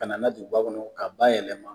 Kana na ye duguba kɔnɔ k'a bayɛlɛma